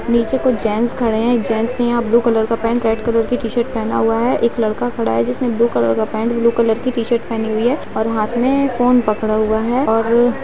नीचे कुछ जेंट्स खड़े हैं जेंट्स ने यहाँ ब्लू कलर का पैंट रेड कलर की टी-शर्ट पहना हुआ है एक लड़का खड़ा है जिसने ब्लू कलर का पैंट ब्लू कलर की टी-शर्ट पहनी हुई है और हाथ में फोन पकड़ा हुआ है और --